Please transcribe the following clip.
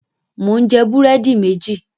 Mò ń jẹ búrẹ́dì méjì.